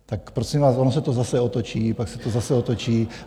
Tak prosím vás, ono se to zase otočí, pak se to zase otočí.